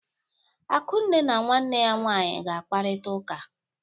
Akunne na nwanne ya nwaanyị ga-akparịta ụka.